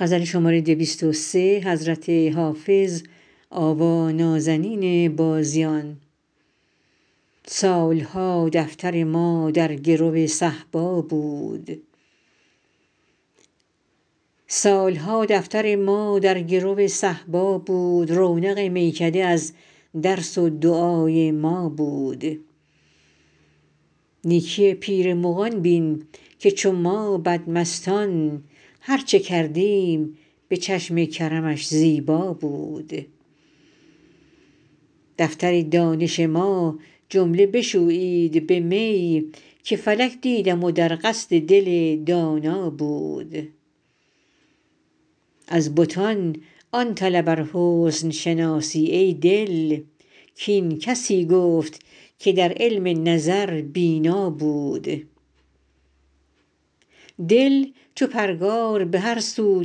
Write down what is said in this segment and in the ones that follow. سال ها دفتر ما در گرو صهبا بود رونق میکده از درس و دعای ما بود نیکی پیر مغان بین که چو ما بدمستان هر چه کردیم به چشم کرمش زیبا بود دفتر دانش ما جمله بشویید به می که فلک دیدم و در قصد دل دانا بود از بتان آن طلب ار حسن شناسی ای دل کاین کسی گفت که در علم نظر بینا بود دل چو پرگار به هر سو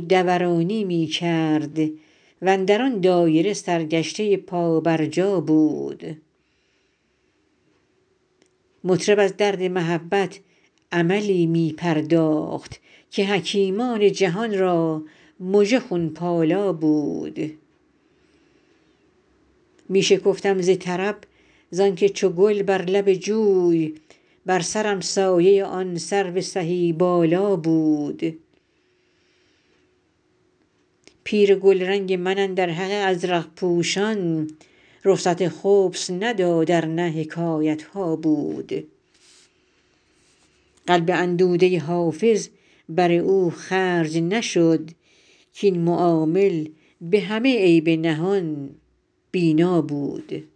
دورانی می کرد و اندر آن دایره سرگشته پابرجا بود مطرب از درد محبت عملی می پرداخت که حکیمان جهان را مژه خون پالا بود می شکفتم ز طرب زان که چو گل بر لب جوی بر سرم سایه آن سرو سهی بالا بود پیر گلرنگ من اندر حق ازرق پوشان رخصت خبث نداد ار نه حکایت ها بود قلب اندوده حافظ بر او خرج نشد کاین معامل به همه عیب نهان بینا بود